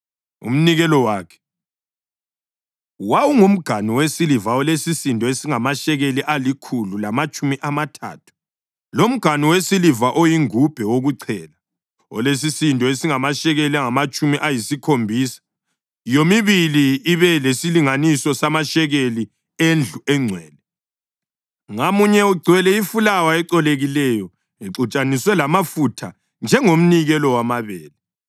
Umnikelo wakhe: wawungumganu wesiliva olesisindo esingamashekeli alikhulu lamatshumi amathathu, lomganu wesiliva oyingubhe wokuchela olesisindo esingamashekeli angamatshumi ayisikhombisa, yomibili ibe lesilinganiso samashekeli endlu engcwele, ngamunye ugcwele ifulawa ecolekileyo exutshaniswe lamafutha njengomnikelo wamabele;